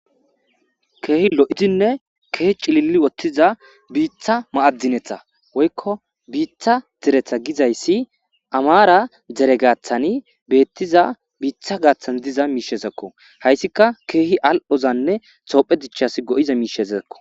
keehi lo7izinne keehi cililli wottiza biitha ma7addinetha woykko biitha deretha gizayssi amaara dere gaathani beettiza biitha gaaththan diza miishezekko hayssika keehi al7hozanne toophe dichchas go7iza miishezeekko